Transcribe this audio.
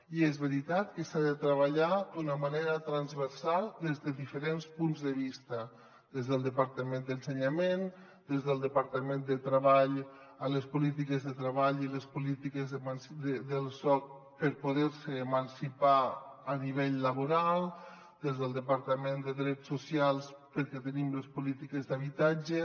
i és veri·tat que s’ha de treballar d’una manera transversal des de diferents punts de vista des del departament d’educació des del departament de treball amb les polítiques de treball i les polítiques del soc per poder·se emancipar a nivell laboral des del de·partament de drets socials perquè hi tenim les polítiques d’habitatge